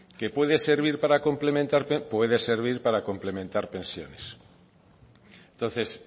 que puede servir para complementar pensiones puede servir para complementar pensiones entonces